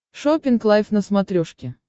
шоппинг лайв на смотрешке